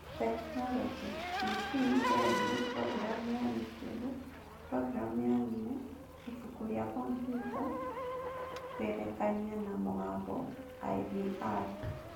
Tekinoronjĩ: TV, redio, programu ya YouTube, programu ya thimũ, ibuku rĩa kompiuta, kũgerekania na mũgambo (IVR).